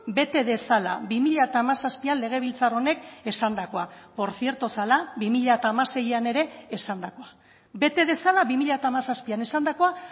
bete dezala bi mila hamazazpian legebiltzar honek esandakoa por cierto zela bi mila hamaseian ere esandakoa bete dezala bi mila hamazazpian esandakoa